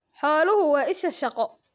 Xooluhu waa isha shaqo.